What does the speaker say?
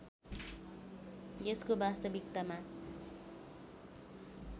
यसको वास्तविकतामा